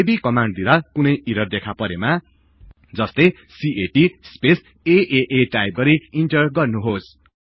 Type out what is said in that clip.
यदि कमान्ड दिदाँ कुनै ईरर् देखा परेमा जस्तै क्याट स्पेस आआ टाईप गरि इन्टर गर्नुहोस्